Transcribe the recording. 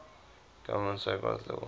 government safeguards led